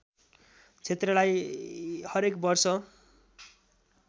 क्षेत्रलाई हरेक वर्ष